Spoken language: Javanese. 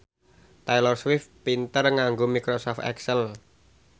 Taylor Swift pinter nganggo microsoft excel